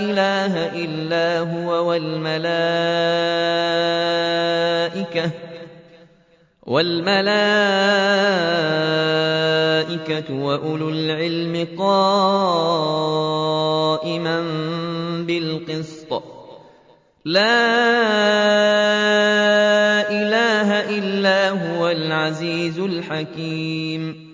إِلَٰهَ إِلَّا هُوَ وَالْمَلَائِكَةُ وَأُولُو الْعِلْمِ قَائِمًا بِالْقِسْطِ ۚ لَا إِلَٰهَ إِلَّا هُوَ الْعَزِيزُ الْحَكِيمُ